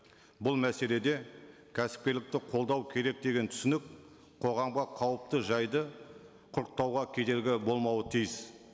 бұл мәселеде кәсіпкерлікті қолдау керек деген түсінік қоғамға қауіпті жайды құрықтауға кедергі болмауы тиіс